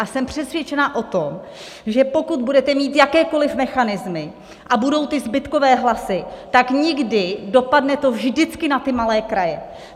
A jsem přesvědčena o tom, že pokud budete mít jakékoli mechanismy a budou ty zbytkové hlasy, tak nikdy... dopadne to vždycky na ty malé kraje.